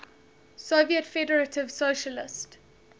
soviet federative socialist